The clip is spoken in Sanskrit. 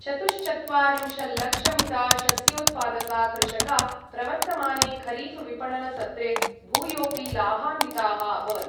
चतुश्चत्वारिंशल्लक्षमिता शस्योत्पादका कृषका प्रवर्तमाने खरीफविपणनसत्रे भूयोपि लाभान्विताः अभवन्।